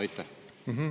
Teie aeg!